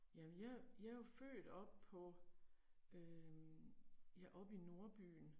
Jamen jeg, jeg er jo født op på øh ja oppe i nordbyen